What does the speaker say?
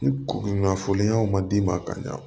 Ni kunnafoniɲɔgɔnw ma d'i ma ka ɲa